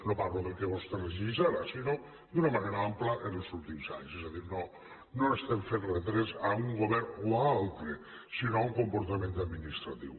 no parlo del que vostè regeix ara sinó d’una manera ampla els últims anys és a dir no estem fent retrets a un govern o a un altre sinó a un comportament administratiu